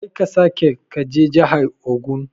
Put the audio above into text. Karka sake kaje jahar ogun.